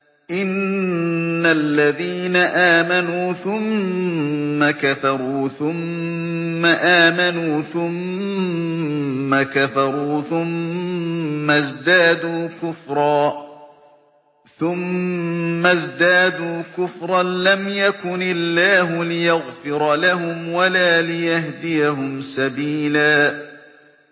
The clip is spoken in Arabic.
إِنَّ الَّذِينَ آمَنُوا ثُمَّ كَفَرُوا ثُمَّ آمَنُوا ثُمَّ كَفَرُوا ثُمَّ ازْدَادُوا كُفْرًا لَّمْ يَكُنِ اللَّهُ لِيَغْفِرَ لَهُمْ وَلَا لِيَهْدِيَهُمْ سَبِيلًا